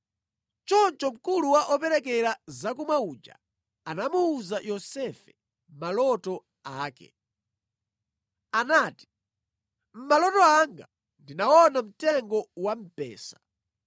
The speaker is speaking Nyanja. Choncho mkulu wa operekera zakumwa uja anamuwuza Yosefe maloto ake. Anati, “Mʼmaloto anga ndinaona mtengo wa mpesa,